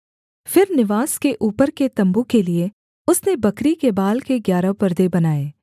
फिर निवास के ऊपर के तम्बू के लिये उसने बकरी के बाल के ग्यारह परदे बनाए